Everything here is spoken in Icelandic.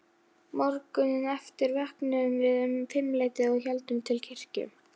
Morguninn eftir vöknuðum við um fimmleytið og héldum til kirkju.